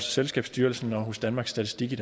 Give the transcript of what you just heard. selskabsstyrelsen og hos danmarks statistik i